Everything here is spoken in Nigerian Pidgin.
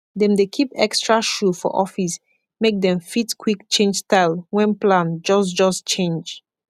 dem dey kip ekstra shoe for office make dem fit kwik change style wen plan jos jos change